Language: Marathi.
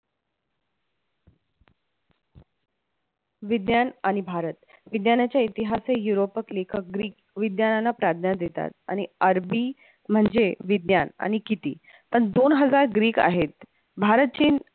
विज्ञान आणि भारत, विज्ञानाचे इतिहास हे यूरोपक लेखक ग्रीक विज्ञानाला प्राज्ञा देतात आणि अरबी म्हणजे विज्ञान आणि किती अन दोन हजार ग्रीक आहेत, भारत चीन